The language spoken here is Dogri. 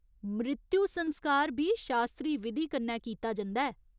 मृत्यु संस्कार बी शास्त्री विधी कन्नै कीता जंदा ऐ।